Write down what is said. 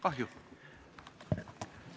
Kahju!